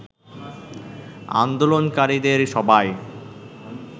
আন্দোলনকারীদের সবাই